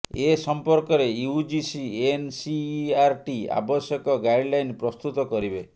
ଏ ସମ୍ପର୍କରେ UGC NCERT ଆବଶ୍ୟକ guideline ପ୍ରସ୍ତୁତ କରିବେ